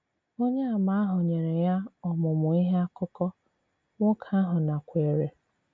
Ònyèàmà ahụ nyere ya ọmụmụ̀ ìhè àkùkọ̀, nwokè ahụ nakwèrè.